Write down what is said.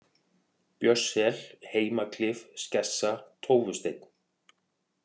Björnssel, Heimaklif, Skessa, Tófusteinn